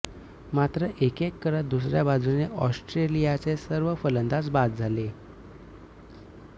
मात्र एक एक करत दुसऱ्या बाजुने ऑस्ट्रेलियाचे सर्व फलंदाज बाद झाले